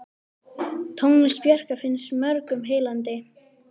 Tónlist Bjarkar finnst mörgum heillandi.